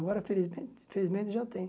Agora, felizmen felizmente, já tenho.